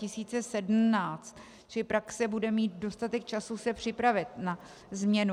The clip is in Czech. Čili praxe bude mít dostatek času se připravit na změnu.